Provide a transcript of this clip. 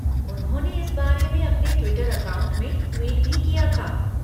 उन्होंने इस बारे में अपने ट्विटर अकाउंट से ट्वीट भी किया था।